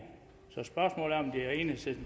så